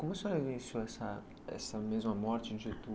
Como a senhora vivenciou essa essa mesma morte em